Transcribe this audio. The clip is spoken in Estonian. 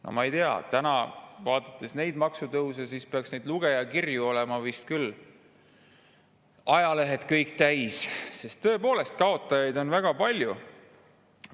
No ma ei tea, kui vaadata maksutõuse, siis peaks neid lugejakirju vist küll kõik ajalehed täis olema, sest kaotajaid on tõepoolest väga palju.